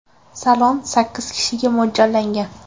Salon sakkiz kishiga mo‘ljallangan.